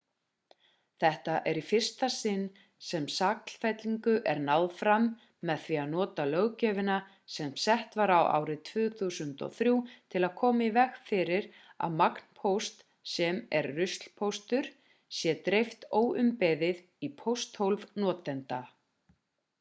þetta er í fyrsta sinn sem sakfellingu er náð fram með því að nota löggjöfina sem sett var árið 2003 til að koma í veg fyrir að magnpósti sem er ruslpóstur sé dreift óumbeðið í pósthólf notenda